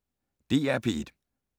DR P1